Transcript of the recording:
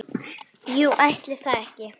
Jú, ætli það ekki!